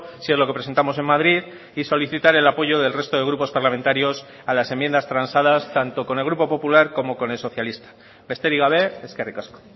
si es lo que presentamos en madrid y solicitar el apoyo del resto de grupos parlamentarios a las enmiendas transadas tanto con el grupo popular como con el socialista besterik gabe eskerrik asko